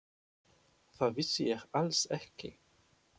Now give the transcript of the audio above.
Það vissi ég alls ekki.